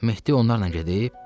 Mehdi onlarla gedib?